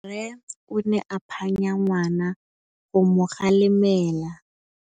Rre o ne a phanya ngwana go mo galemela.